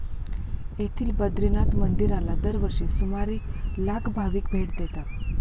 येथील बद्रीनाथ मंदिराला दरवर्षी सुमारे लाख भाविक भेट देतात.